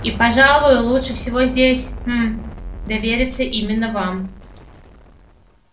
и пожалуй лучше всего здесь хм довериться именно вам